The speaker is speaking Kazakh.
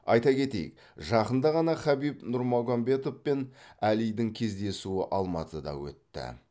айта кетейік жақында ғана хабиб нурмагомедов пен әлидің кездесуі алматыда өтті